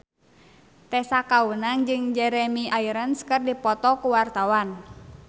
Tessa Kaunang jeung Jeremy Irons keur dipoto ku wartawan